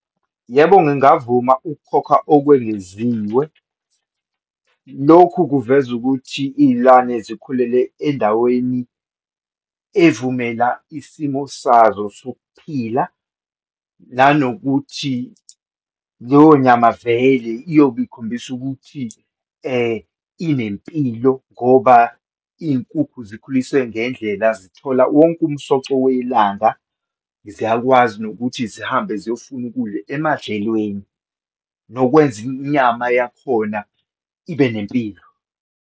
Yebo, ngingavuma ukukhokha okwengeziwe. Lokhu kuveza ukuthi iyilwane zikhulele endaweni evumela isimo sazo sokuphila, nanokuthi leyo nyama vele iyobe ikhombisa ukuthi inempilo ngoba iyinkukhu zikhuliswe ngendlela, zithola wonke umsoco welanga, ziyakwazi nokuthi zihambe ziyofuna ukudla emadlelweni, nokwenza inyama yakhona ibe nempilo.